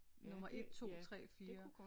Nummer 1 2 3 4